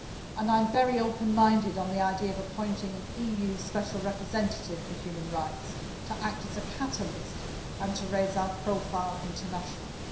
And I am very open minded on the idea of appointing an EU Special Representative for Human Rights, to act as a catalyst and to raise our profile internationally.